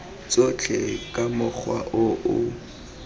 tsotlhe ka mokgwa o o